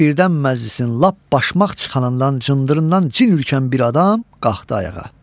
birdən məclisin lap başmaq çıxanından cındırından cin ürkən bir adam qalxdı ayağa.